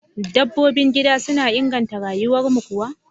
Dabbobin gida suna inganta rayuwarmu kuwa?